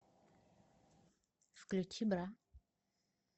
включи бра